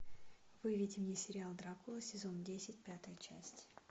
выведи мне сериал дракула сезон десять пятая часть